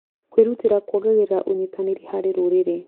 Kwĩrũtĩra kuongagĩrĩra ũnyitanĩri harĩ rũrĩrĩ.